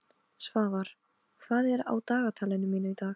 Svafar, hvað er á dagatalinu mínu í dag?